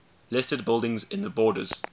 listed buildings in the borders